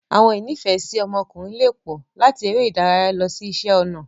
Awọn ìnifẹ̀ẹ́si ọmọkùnrin lè pọ, làti eré ìdárayá lọ si iṣẹ ọnà.